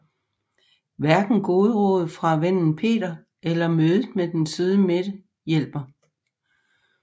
Hverken gode råd fra vennen Peter eller mødet med den søde Mette hjælper